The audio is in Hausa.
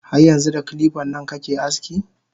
Har yanxu da kilipan nan kake aski?